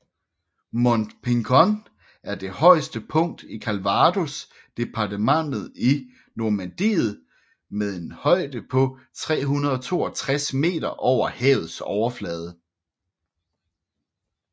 Mont Pinçon er det højeste punkt i Calvados departementet i Normandiet med en højde på 362 meter over havets overflade